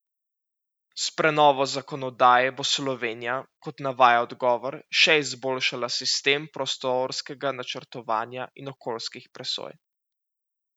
S prenovo zakonodaje bo Slovenija, kot navaja odgovor, še izboljšala sistem prostorskega načrtovanja in okoljskih presoj.